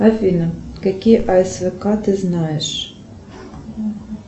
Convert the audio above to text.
афина какие асвк ты знаешь